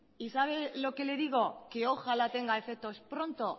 y sabe lo que le digo que ojalá tenga efectos pronto